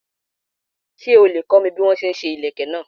Ṣé o lè kọ́ mi bí a ti ń ṣe ìlékè náà.